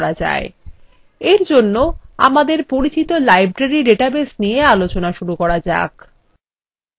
এর জন্য আমাদের পরিচিত library ডেটাবেস নিয়ে আলোচনা শুরু করা যাক